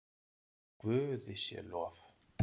Guði sé lof!